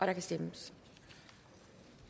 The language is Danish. har indstillet